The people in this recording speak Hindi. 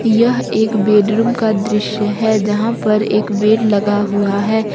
यह एक बेडरूम का दृश्य है जहां पर एक बेड लगा हुआ है।